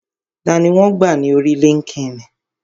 Tani wọn gbà ní orí líńki-inì?